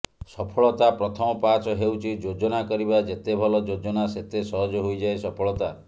ସଫଳତା ପ୍ରଥମ ପାହାଚ ହେଉଛି ଯୋଜନା କରିବା ଯେତେ ଭଲ ଯୋଜନା ସେତେ ସହଜ ହୋଇଯାଏ ସଫଳତା